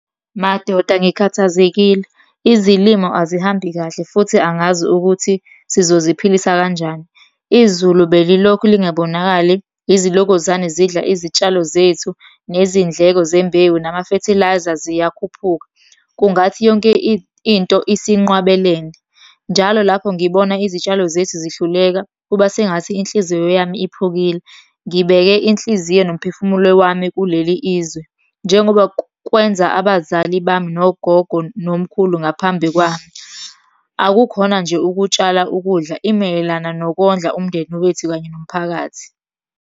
Madoda ngikhathazekile, izilimo azihambi kahle futhi angazi ukuthi sizoziphilisa kanjani. Izulu belilokhu lingabonakali, izilokozane zidla izitshalo zethu, nezindleko zembewu nama-fertiliser ziyakhuphuka. Kungathi yonke into isinqwabelene, njalo lapho ngibona izitshalo zethu zihluleka, kuba sengathi inhliziyo yami iphukile. Ngibeke inhliziyo nomphefumulo wami kuleli izwe, njengoba kwenza abazali bami, nogogo nomkhulu ngaphambi kwami. Akukhona nje ukutshala ukudla, imayelana nokondla umndeni wethu kanye nomphakathi.